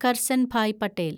Karsanbhai Patel